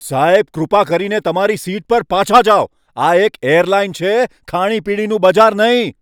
સાહેબ, કૃપા કરીને તમારી સીટ પર પાછા જાઓ. આ એક એરલાઇન છે, ખાણીપીણીનું બજાર નહીં!